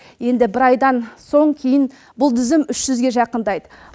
енді бір айдан соң кейін бұл тізім үш жүзге жақындайды